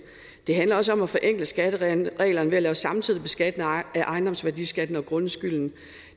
det handler også om at forenkle skattereglerne ved at lave samtidig beskatning af ejendomsværdiskatten og grundskylden